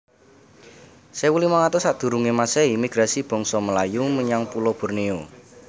sewu limang atus sakdurunge masehi Migrasi bangsa Melayu menyang pulo Borneo